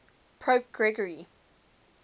pope gregory